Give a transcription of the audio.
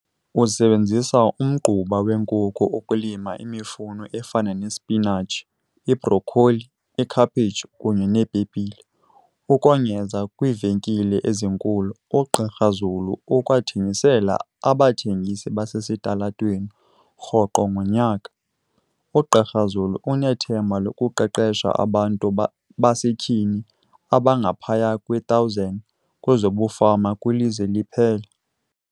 Usebenzisa umgquba wenkukhu ukulima imifuno efana nesipinatshi, ibrokholi, ikhaphetshu kunye neepepile. Ukongeza kwiivenkile ezinkulu, uGqr Zulu ukwathengisela abathengisi basesitalatweni. Rhoqo ngonyaka, uGqr Zulu unethemba lokuqeqesha abantu basetyhini abangaphaya kwe-1 000 kwezobufama kwilizwe liphela.